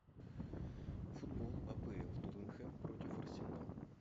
футбол апл тоттенхэм против арсенал